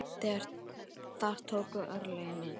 Þar tóku örlögin yfir.